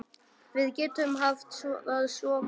Við getum haft það svo gott.